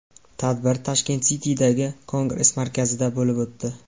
Tadbir Tashkent City’dagi Kongress markazida bo‘lib o‘tdi.